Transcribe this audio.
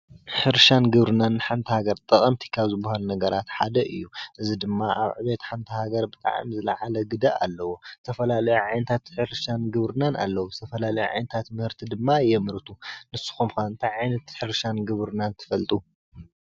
ሕርሻን ግብርናን ሓንቲ ሃገር ጠቐምቲ ካብ ዝባሃሉ ነገራት ሓደ እዩ፡፡ እዚ ድማ ኣብ ዕቤት ሓንቲ ሃገር ብጣዕሚ ዝለዓለ ግደ ኣለዎ፡፡ ተፈላለየ ዓይነታት ሕርሻን ግብርናን ኣለዉ፡፡ ዝተፈላለዩ ዓይነታት ምህርቲ ድማ የምርቱ ንስኹምከ ታይ ዓይነት ሕርሻን ግብርናን ትፈልጡ?